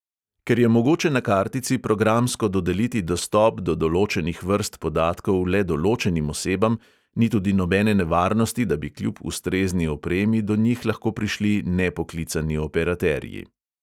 Ker je mogoče na kartici programsko dodeliti dostop do določenih vrst podatkov le določenim osebam, ni tudi nobene nevarnosti, da bi kljub ustrezni opremi do njih lahko prišli nepoklicani operaterji.